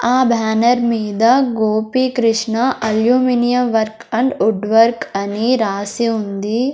ఆ బ్యానర్ మీద Gopikrishna aluminium work and wood work అని రాసి ఉంది.